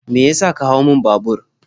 Me ya sa ka hau mun babur?